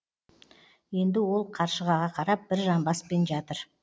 енді ол қаршығаға қарап бір жамбаспен жатыр